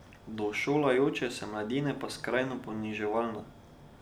Do šolajoče se mladine pa skrajno poniževalna.